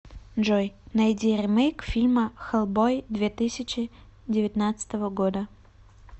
джой найди ремейк фильма хеллбой две тысяча девятнадцатого года